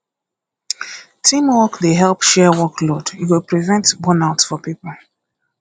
teamwork dey help share workload e go prevent burnout for pipo